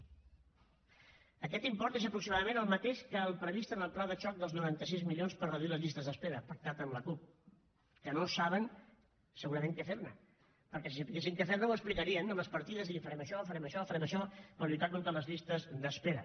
aquest import és aproximadament el mateix que el previst en el pla de xoc dels noranta sis milions per reduir les llistes d’espera pactat amb la cup que no saben segurament què fer ne perquè si sabessin què fer ne ho explicarien amb les partides i dir farem això farem això farem això per lluitar contra les llistes d’espera